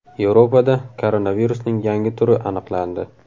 Yevropada koronavirusning yangi turi aniqlandi.